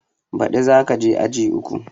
Ba ɗi za ka je aji uku